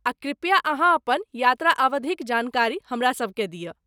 आ कृपया अहाँ अपन यात्रा अवधिक जानकारी हमरासभकेँ दियऽ।